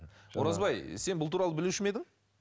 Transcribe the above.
оразбай сен бұл туралы білуші ме едің